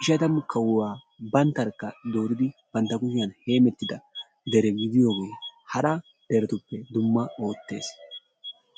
ishshatamu kawuwaa banttarkka dooridi bantta kuushiyaan heemmettida deregidiyoogee hara deretuppe dumma oottees.